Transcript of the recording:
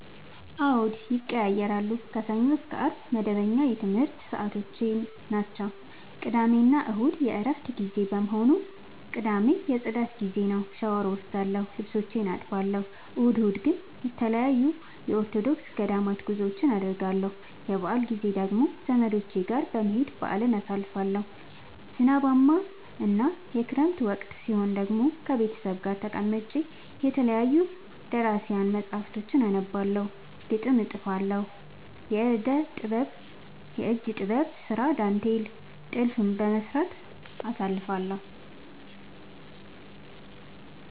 አዎድ ይቀየያራሉ። ከሰኞ እስከ አርብ መደበኛ የትምረት ሰዓቶቼናቸው ቅዳሜና እሁድ የእረፍት ጊዜ በመሆኑ። ቅዳሜ የፅዳት ጊዜዬ ነው። ሻውር እወስዳለሁ ልብሶቼን አጥባለሁ። እሁድ እሁድ ግን ተለያዩ የኦርቶዶክስ ገዳማት ጉዞወችን አደርገለሁ። የበአል ጊዜ ደግሞ ዘመዶቼ ጋር በመሄድ በአልን አሳልፋለሁ። ዝናባማ እና የክረምት ወቅት ሲሆን ደግሞ ቤተሰብ ጋር ተቀምጬ የተለያዩ ደራሲያን መፀሀፍቶችን አነባለሁ፤ ግጥም እጥፋለሁ፤ የእጅ ጥበብ ስራ ዳንቴል ጥልፍ በመስራት አሳልፍለሁ።